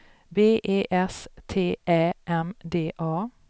B E S T Ä M D A